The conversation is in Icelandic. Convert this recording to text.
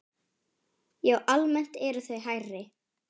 Já, almennt eru þau hærri.